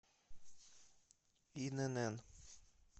инн